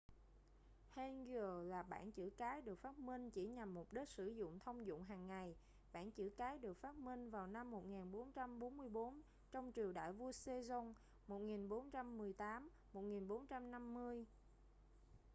hangeul là bảng chữ cái được phát minh chỉ nhằm mục đích sử dụng thông dụng hàng ngày. bảng chữ cái được phát minh vào năm 1444 trong triều đại vua sejong 1418 - 1450